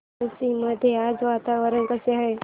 पळशी मध्ये आज वातावरण कसे आहे